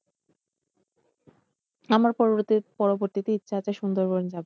আমার পরবর্তী, পরবর্তীতে ইচ্ছা আছে সুন্দরবন যাবার।